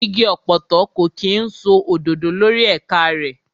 Igi ọ̀pọ̀tọ́ kò kí ń so òdòdó lórí ẹ̀ka rẹ̀.